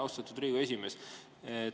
Austatud Riigikogu esimees!